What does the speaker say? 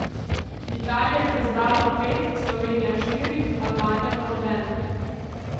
Italija jih je zbrala pet, Slovenija štiri, Albanija pa nobene.